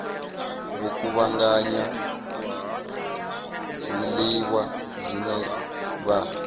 vho kuvhanganya zwiḽiwa zwine vha